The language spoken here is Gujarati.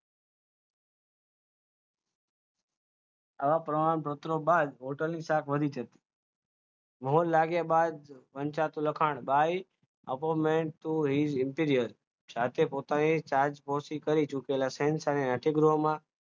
આવા પ્રમાણપત્રો બાદ હોટલની છાપ વધી છે મહર લાગ્યા બાદ વંચાતું લખાણ by appointment to ger antiror સાથે પોતાની છાપ પહોંચી ગયો શહેન